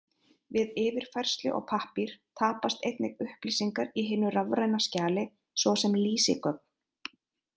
Við yfirfærslu á pappír tapast einnig upplýsingar í hinu rafræna skjali, svo sem lýsigögn.